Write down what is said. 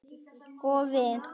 Og við?